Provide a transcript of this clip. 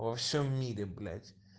во всем мире блять